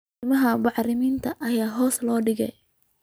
Qiimaha bacriminta ayaa hoos loo dhigay